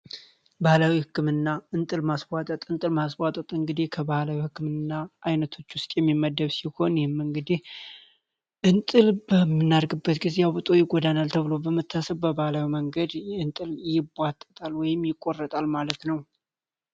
ባህላዊ ህክምና አይነቶች እንግዲህ ጎዳና ተብሎ በመታሰቢያው መንገድ ወይም የቆረጣል ማለት ነው